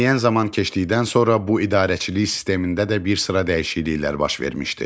Müəyyən zaman keçdikdən sonra bu idarəçilik sistemində də bir sıra dəyişikliklər baş vermişdi.